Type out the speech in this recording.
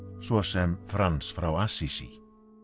svo sem Frans frá